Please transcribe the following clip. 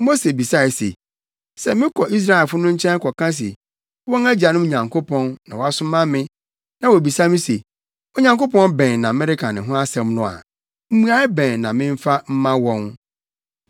Mose bisae se, “Sɛ mekɔ Israelfo no nkyɛn kɔka se wɔn agyanom Nyankopɔn na wasoma me na wobisa me se, ‘Onyankopɔn bɛn na mereka ne ho asɛm no’ a, mmuae bɛn na memfa mma wɔn?”